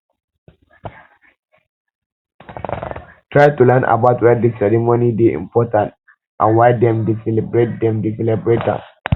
try to learn about why di ceremony dey important and why dem dey celebrate dem dey celebrate am